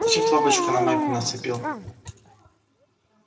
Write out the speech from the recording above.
зачем ты бабочку на майку нацепил